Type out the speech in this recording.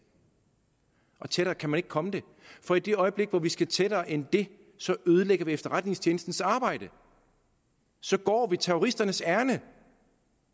tættere kan man ikke komme det for i det øjeblik hvor vi skal tættere end det ødelægger vi efterretningstjenestens arbejde så går vi terroristernes ærinde